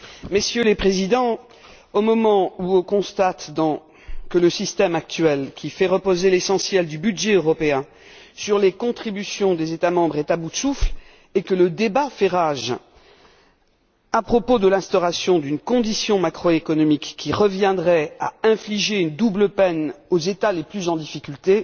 Messieurs les Présidents, au moment où l'on constate que le système actuel, qui fait reposer l'essentiel du budget européen sur les contributions des États membres, est à bout de souffle et où le débat fait rage à propos de l'instauration d'une condition macroéconomique qui reviendrait à infliger une double peine aux États les plus en difficulté,